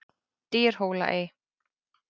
Dyrhólaey